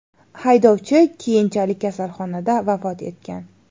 Haydovchi keyinchalik kasalxonada vafot etgan.